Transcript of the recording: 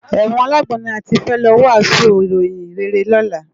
Èwòn àlágbòn ni àtí fè lò wàsún iróyin réré lòlá